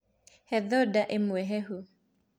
He thota ĩmwe hehu.